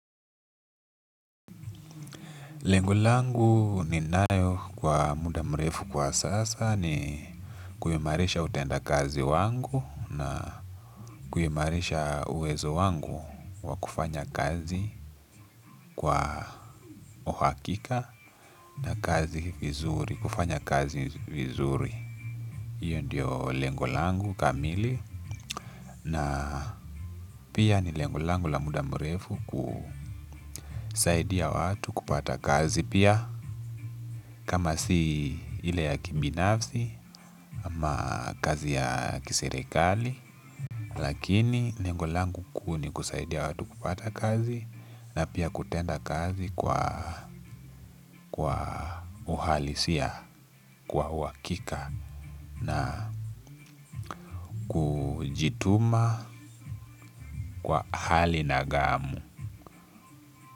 Lengo langu ninayo kwa mudamrefu kwa sasa ni kuimarisha utenda kazi wangu na kuimarisha uwezo wangu wa kufanya kazi kwa uhakika na kazi vizuri, kufanya kazi vizuri. Iyo ndiyo lengo langu kamili na pia ni lengo langu la muda mrefu kusaidia watu kupata kazi pia kama si ile ya kibinafsi ama kazi ya kiserekali lakini lengo langu kuu ni kusaidia watu kupata kazi na pia kutenda kazi kwa uhalisia kwa uhakika na hujituma kwa hali na gamu.